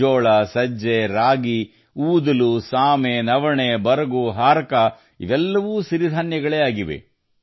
ಜೋಳ ಸಜ್ಜೆ ರಾಗಿ ಊದಲುಸಾವನ್ ಕಂಗ್ನಿ ಚೀಣ ಕೊಡೋ ಕುಟ್ಕಿ ಕುಟ್ಟು ಇವೆಲ್ಲ ಸಿರಿಧಾನ್ಯಗಳೇ ಆಗಿವೆ